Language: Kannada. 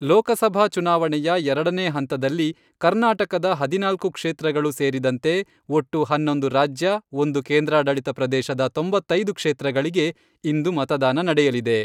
ಲೋಕಸಭಾ ಚುನಾವಣೆಯ ಎರಡನೇ ಹಂತದಲ್ಲಿ ಕರ್ನಾಟಕದ ಹದಿನಾಲ್ಕು ಕ್ಷೇತ್ರಗಳು ಸೇರಿದಂತೆ ಒಟ್ಟು ಹನ್ನೊಂದು ರಾಜ್ಯ, ಒಂದು ಕೇಂದ್ರಾಡಳಿತ ಪ್ರದೇಶದ ತೊಂಬತ್ತೈದು ಕ್ಷೇತ್ರಗಳಿಗೆ ಇಂದು ಮತದಾನ ನಡೆಯಲಿದೆ.